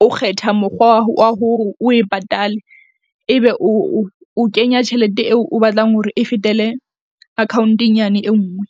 o kgetha mokgwa wa hore o e patale ebe o kenya tjhelete eo o batlang hore e fetele account-eng yane e nngwe.